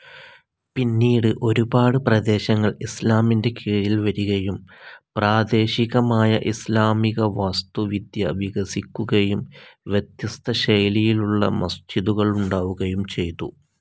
പിന്നീട് ഒരുപാട് പ്രദേശങ്ങൾ ഇസ്ലാമിൻ്റെ കീഴിൽ വരികയും പ്രാദേശികമായ ഇസ്ലാമിക വാസ്തുവിദ്യ വികസിക്കുകയും വ്യത്യസ്ത ശൈലിയിലുളള മസ്ജിദുകൾ ഉണ്ടാവുകയും ചെയ്തു.